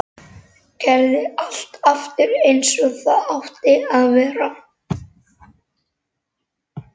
Gerði allt aftur eins og það átti að vera.